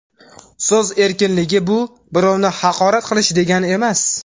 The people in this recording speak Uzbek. So‘z erkinligi birovni haqorat qilish degani emas.